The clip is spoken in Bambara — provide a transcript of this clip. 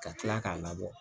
Ka tila k'a labɔ